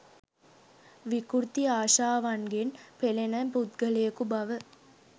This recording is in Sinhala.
විකෘති ආශාවන්ගෙන් පෙළෙන පුද්ගලයකු බව